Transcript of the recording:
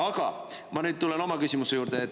Aga ma nüüd tulen oma küsimuse juurde.